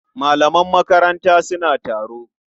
Malaman makaranta suna taro.